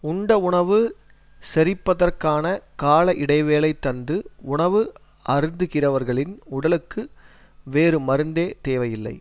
உண்ட உணவு செரிப்பதற்கான கால இடைவெளி தந்து உணவு அருந்துகிறவர்களின் உடலுக்கு வேறு மருந்தே தேவையில்லை